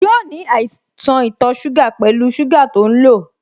Yóò ní àìsàn ito suga pẹlu sugar to ń lo